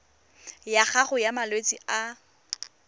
ya gago ya malwetse a